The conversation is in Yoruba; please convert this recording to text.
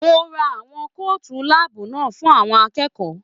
Mo rán àwọn kootu láàbù náà fún àwọn akẹ́kọ̀ọ́.